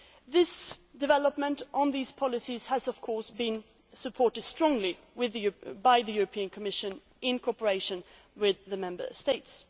development. This development on these policies has, of course, been strongly supported by the European Commission in cooperation with the